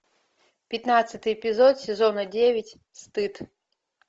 пятнадцатый эпизод сезона девять стыд